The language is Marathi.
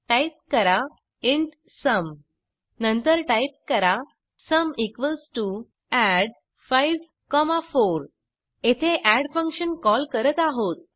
टाईप करा इंट सुम नंतर टाइप करा सुम add54 येथे एड फंक्शन कॉल करत आहोत